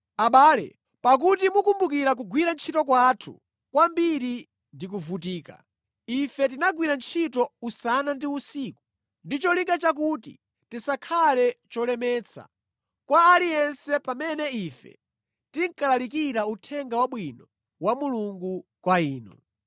Abale, pakuti mukumbukira kugwira ntchito kwathu kwambiri ndi kuvutika; ife tinagwira ntchito usana ndi usiku ndi cholinga chakuti tisakhale cholemetsa, kwa aliyense pamene ife tinkalalikira Uthenga Wabwino wa Mulungu kwa inu.